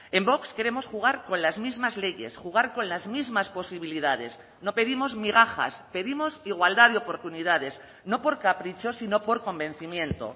en vox queremos jugar con las mismas leyes jugar con las mismas posibilidades no pedimos migajas pedimos igualdad de oportunidades no por capricho sino por convencimiento